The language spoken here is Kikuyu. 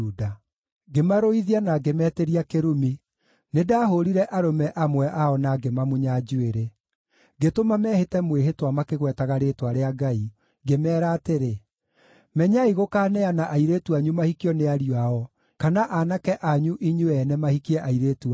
Ngĩmarũithia na ngĩmetĩria kĩrumi. Nĩndahũũrire arũme amwe ao na ngĩmamunya njuĩrĩ. Ngĩtũma mehĩte mwĩhĩtwa makĩgwetaga rĩĩtwa rĩa Ngai, ngĩmeera atĩrĩ: “Menyai gũkaaneana airĩtu anyu mahikio nĩ ariũ ao, kana aanake anyu inyuĩ ene mahikie airĩtu ao.